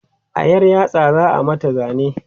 a ƴar yatsa za'a mata zane